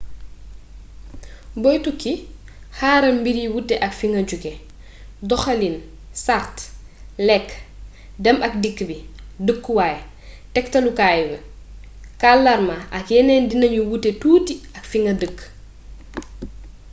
boy tukki xaaral mbir yi wute ak fa nga jóge . doxalin sart lekk dem ak dikk bi dëkkuwaay tektalukaay kàllaama ak yeneen dinañu wuute tuuti ak fi nga dëkk